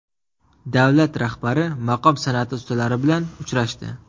Davlat rahbari maqom san’ati ustalari bilan uchrashdi.